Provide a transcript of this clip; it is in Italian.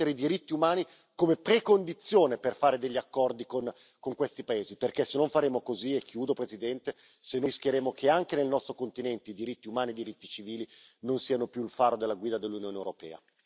Deve annettere i diritti umani come precondizione per fare degli accordi con questi paesi, perché se non faremo così, e chiudo Presidente, rischieremo che anche nel nostro continente i diritti umani e i diritti civili non siano più il faro della guida dell'Unione europea.